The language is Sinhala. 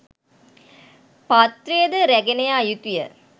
පාත්‍රය ද රැගෙන යා යුතුය.